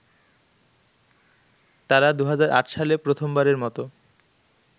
তারা ২০০৮ সালে প্রথমবারের মত